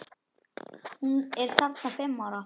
Hún er þarna fimm ára.